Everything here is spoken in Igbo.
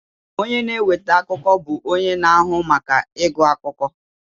Onye na-eweta akụkọ bụ onye na-ahụ maka ịgụ akụkọ